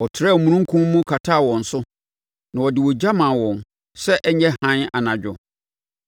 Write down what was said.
Ɔtrɛɛ omununkum mu kataa wɔn so, na ɔde ogya maa wɔn, sɛ ɛnyɛ hann anadwo.